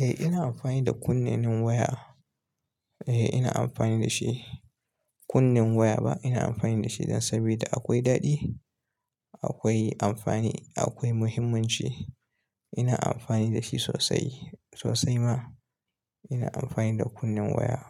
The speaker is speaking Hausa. Eh, ina amfani da kunne nen waya. Eh, ina amfani da shi. Kunnen waya ba, ina amfani da shi dan saboda akwai daɗi, akwai amfani, akwai muhimmanci. Ina amfani da shi sosai, sosai ma. Ina amfani da kunnen waya.